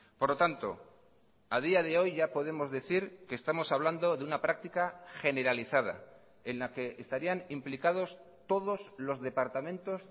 por lo tanto ha día de hoy ya podemos decir que estamos hablando de una práctica generalizada en la que estarían implicados todos los departamentos